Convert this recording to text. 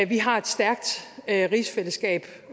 vi har et stærkt rigsfællesskab